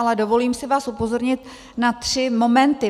Ale dovolím si vás upozornit na tři momenty.